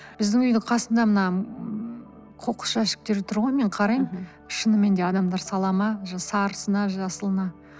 біздің үйдің қасында мына ммм қоқыс жәшіктері тұр ғой мен қараймын шынымен де адамдар сала ма сарысына жасылына